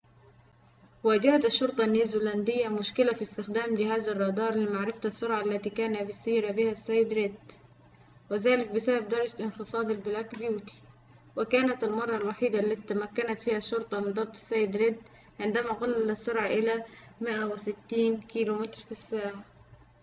واجهت الشرطة النيوزيلندية مشكلةً في استخدام جهاز الرادار لمعرفة السرعة التي كان يسير بها السيد/ ريد"، وذلك بسبب درجة انخفاض البلاك بيوتي". وكانت المرة الوحيدة التي تمكنت فيها الشرطة من ضبط السيد/ ريد عندما قلل السرعة إلى 160 كيلومتر في ساعة